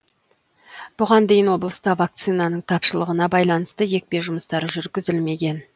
бұған дейін облыста вакцинаның тапшылығына байланысты екпе жұмыстары жүргізілмеген